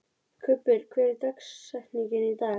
Kubbur, hver er dagsetningin í dag?